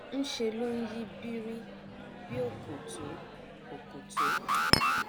nṣe ló nyí birir bí òkòtó òkòtó